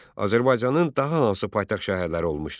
Azərbaycanın daha hansı paytaxt şəhərləri olmuşdur?